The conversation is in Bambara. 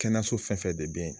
Kɛnɛso fɛn fɛn de be yen